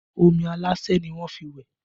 Omi aláṣẹ́ ni wọ́n fi wẹ̀